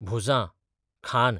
भुजां, खांद